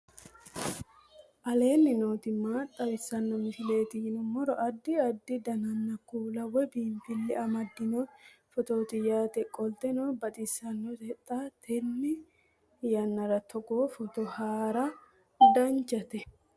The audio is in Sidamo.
aleenni nooti maa xawisanno misileeti yinummoro addi addi dananna kuula woy biinfille amaddino footooti yaate qoltenno baxissannote xa tenne yannanni togoo footo haara danchate